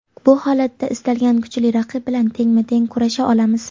Bu holatda istalgan kuchli raqib bilan tengma-teng kurasha olamiz;.